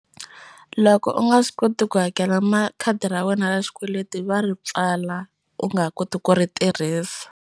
Loko u nga swi koti ku hakela ma khadi ra wena ra xikweleti va ri pfala u nga ha koti ku ri tirhisa.